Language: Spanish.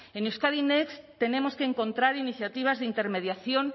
en euskadi next tenemos que encontrar iniciativas de intermediación